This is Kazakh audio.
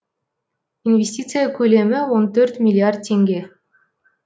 инвестиция көлемі он төрт миллиард теңге